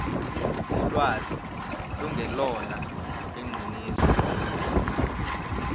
ulwazi lungelona iqiniso